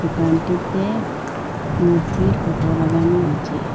দোকানটিতে মূর্তির ফোটো লাগানো আছে।